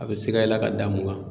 A bɛ sika i la ka da mun kan.